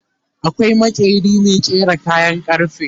akwai maƙeri Mai ƙera kayan karfe